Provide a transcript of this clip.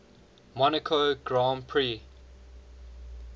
monaco grand prix